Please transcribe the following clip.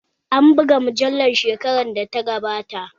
An buga mujallar shekarar da ta gabata